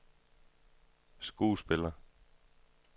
skuespiller